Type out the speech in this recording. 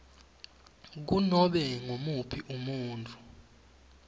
kunobe ngumuphi umuntfu